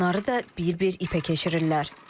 Onları da bir-bir ipə keçirirlər.